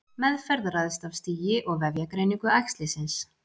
meðferð ræðst af stigi og vefjagreiningu æxlisins